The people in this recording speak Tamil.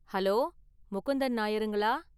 ஹலோ! முகுந்தன் நாயர்ங்களா?